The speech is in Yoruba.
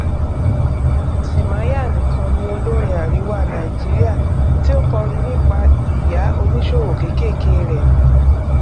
timaya nìkan ni olórin àríwá nàìjíríà tí ó kọrin nípa ìyá oníṣòwò kékèké rẹ